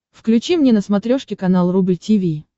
включи мне на смотрешке канал рубль ти ви